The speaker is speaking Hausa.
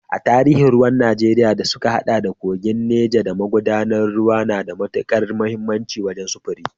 A tarihi, ruwan Najeriya da suka haɗa da kogin Neja da magudanan ruwa na da matukar muhimmanci wajen sufuri.